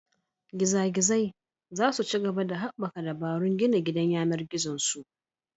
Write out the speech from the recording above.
Giza Gizai za su ci gaba da haɓaka dabarun gina gidan yAnar gizon su